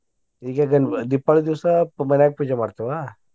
ಈಗ ಗನ್~ ದೀಪಾವಳಿ ದಿವ್ಸ ಮನ್ಯಾಗ ಪೂಜಾ ಮಾಡ್ತೇವ.